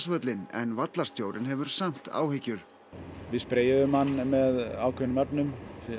grasvöllinn en vallarstjórinn hefur samt áhyggjur við spreyjuðum hann með ákveðnum efnum